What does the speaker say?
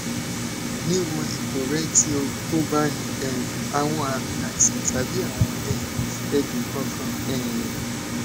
nii wo ipo rẹ ti o ko ba ni um awọn aami aiṣan tabi awọn um ẹdun kankan um